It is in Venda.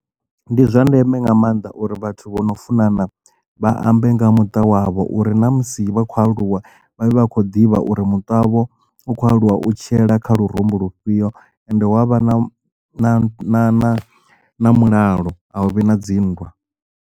Ndi zwa ndeme nga maanḓa uri vhathu vho no funana vhaambe nga muṱa wavho uri na musi vha khou aluwa vha vha khou ḓivha uri muṱa wavho u khou aluwa u tshiela kha lurumbu lufhio and wa vha na na mulalo a hu vhi na dzinndwa.